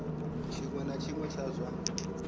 tshiṅwe na tshiṅwe tsha zwa